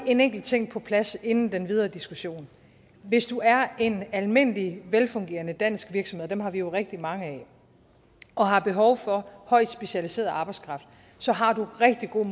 en enkelt ting på plads inden den videre diskussion hvis du er en almindelig velfungerende dansk virksomhed og dem har vi jo rigtig mange af og har behov for højt specialiseret arbejdskraft så har du rigtig gode